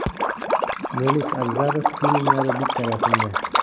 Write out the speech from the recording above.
Melis Abzalov filmlari bitta rasmda.